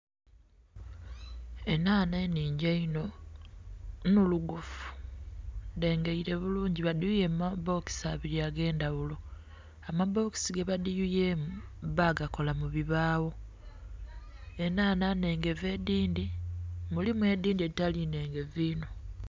Enhanha enhingi einho nnhulugufu dhengeile bulungi badhiyuye mu ma bokisi abili ag'endhaghulo. Amabokisi ge badhiyuyemu ba gakola mu bibaawo. Enhanha nnhengevu edhindhi, mulimu edhindhi edhitali nnhengevu inho.